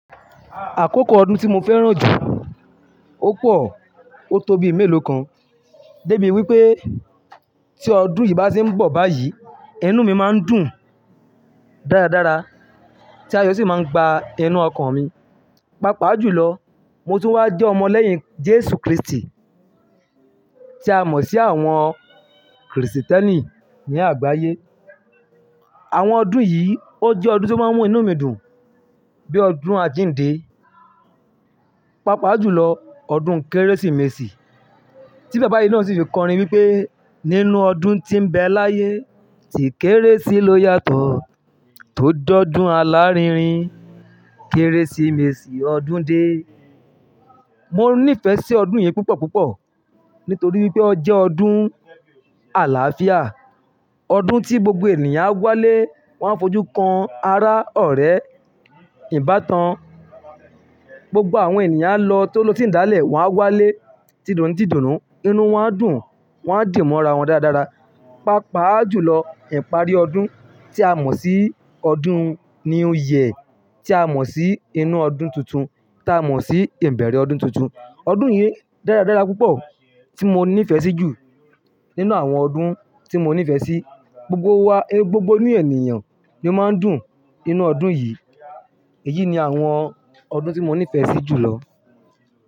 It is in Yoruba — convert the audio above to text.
Àkókò ọdún tí mo fẹ́ràn jù, ó pọ̀, ó tó bí mélòó kan. Dé bi wípé tí ọdún yìí bá se ń bọ̀ báyìí, inú mi máa ń dùn dáradára. Tí ayò sì máa ń gba inú ọkàn mi. Paá pá jùlọ, mo tu wá jẹ́ ọmọ lẹ́yìn Jésù Kristi tí a mọ̀ sí àwọn Krìsìtẹ́nì ní àgbáyé. Àwọn ọdún yìí ó jẹ́ ọdún tí ó máa ń mú inú mi dùn, bíi ọdún àjíǹde. Páa pá jùlọ, ọdún Kérésìmesì. Tí Bàbá yìí naa sì fi kọrin wípé: "Nínú ọdún tí ń bẹ láyé, tì Kérésì ló yàtọ̀ tó j'ọdún alárinrin. Kérésìmesì ọdún dé." Mo níìfẹ̀ sí ọdún yìí púpọ̀ púpọ̀, nítorí wípé ó jẹ́ ọdún àlàáfíà. Ọdún tí gbogbo ènìyàn á wá lé, wọ́n á fojú kan ara, ọ̀rẹ́, ìbátan. Gbogbo àwọn ènìyàn a ló, tó lo sí ìdálẹ̀, wọ́n á wálé ti dùn nu ti dùn nù, inú wọn á dùn, wọ́n á dì mọ́ ara wọn dáradára. Páa pá jùlọ, ìparí ọdún tí a mọ̀ sí ọdún new year. Tí a mọ̀ sí inú ọdún tuntun, tí a mọ̀ sí ìbẹ̀rẹ̀ ọdún tuntun. Ọdún yìí dáradára púpọ̀ tí mo níìfẹ̀ sí jù nínú àwọn ọdún tí mo níìfẹ̀ sí. Gbogbo wa, gbogbo inu ènìyàn ló máa ń dùn ninú ọdún yìí. Èyí ni àwọn ọdún tí mo níìfẹ̀ sí jùlọ.